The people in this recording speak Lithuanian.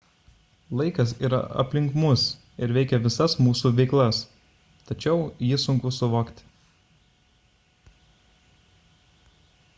laikas yra aplink mus ir veikia visas mūsų veiklas tačiau jį sunku suvokti